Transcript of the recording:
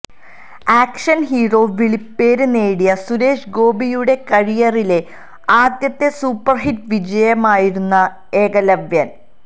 action hero വിളിപ്പേര് നേടിയ സുരേഷ് ഗോപിയുടെ കരിയറിലെ ആദ്യത്തെ സൂപ്പര്ഹിറ്റ് വിജയമായിരുന്നു ഏകലവ്യന്